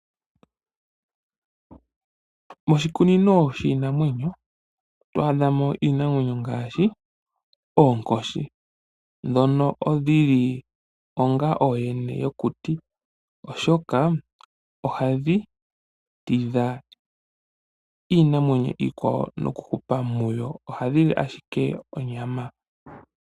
Moshikunino shiinanwenyo oto adha mo iinamwenyo ngaashi oonkoshi ndhono dhi li onga ooyene yokuti, oshoka ohadhi tidha iinamwenyo iikwawo nokuhupa muyo . Ohadhi li ashike onyama.